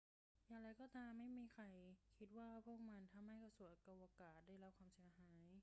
อย่างไรก็ตาม ไม่มีใครคิดว่าพวกมันทำให้กระสวยอวกาศได้รับความเสียหาย